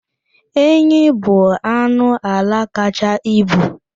Enyi bụ anụ ala kacha ibu.